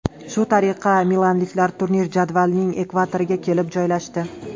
Shu tariqa milanliklar turnir jadvalining ekvatoriga kelib joylashdi.